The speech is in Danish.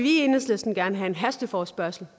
i enhedslisten gerne have en hasteforespørgsel